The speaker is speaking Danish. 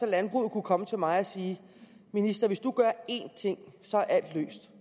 at landbruget kunne komme til mig og sige minister hvis du gør én ting så er alt løst